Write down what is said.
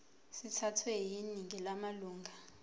sithathwe yiningi lamalunga